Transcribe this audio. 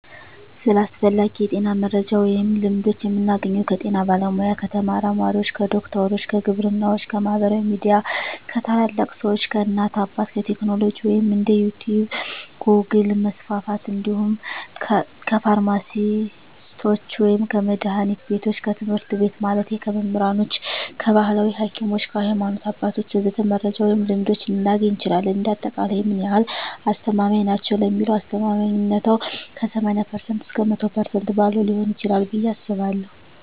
ስለ አስፈላጊ የጤና መረጃ ወይም ልምዶች የምናገኘው ከጤና ባለሙያ፣ ከተመራማሪዎች፣ ከዶክተሮች፣ ከግብርናዎች፣ ከማህበራዊ ሚዲያ፣ ከታላላቅ ሰዎች፣ ከእናት አባት፣ ከቴክኖሎጂ ወይም እንደ ዩቲቭ ጎግል% መስፍፍት እንዲሁም ከፍርማሲስቶች ወይም ከመድሀኒት ቢቶች፣ ከትምህርት ቤት ማለቴ ከመምህራኖች፣ ከባህላዊ ሀኪሞች፣ ከሀይማኖት አባቶች ወዘተ..... መረጃ ወይም ልምዶች ልናገኝ እንችላለን። እንደ አጠቃላይ ምን ያህል አስተማማኝ ናቸው ለሚለው አስተማማኝነታው ከ80% እስከ 100% ባለው ሊሆን ይችላል ብየ አስባለሁ።